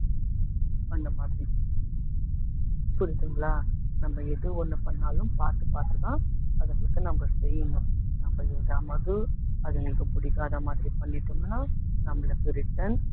அந்த மாதிரி புரியுதுங்களா நம்ம எது ஒண்ணு பண்ணாலும் பாத்து பாத்துதான் அதுங்களுக்கு நம்ம செய்யணும் நம்ம எதாவது அதுங்களுக்கு பிடிக்காத மாதிரி பண்ணிட்டோம்ன்னா நம்மளுக்கு return